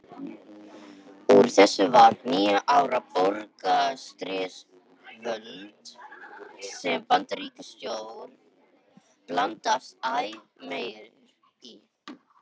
Úr þessu varð níu ára borgarastyrjöld sem Bandaríkjastjórn blandaðist æ meir í.